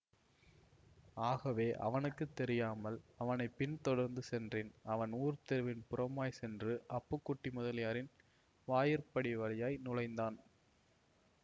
ஆகவே அவனுக்கு தெரியாமல் அவனை பின் தொடர்ந்து சென்றேன் அவன் ஊர்த் தெருவின் புறமாய் சென்று அப்புக்குட்டி முதலியாரின் வாயிற்படி வழியாய் நுழைந்தான்